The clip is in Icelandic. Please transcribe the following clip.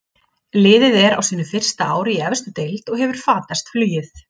Liðið er á sínu fyrsta ári í efstu deild og hefur fatast flugið.